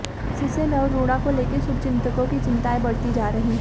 इससे नवरूणा को लेकर शुभचिंतकों की चिंताएं बढ़ती जा रही हैं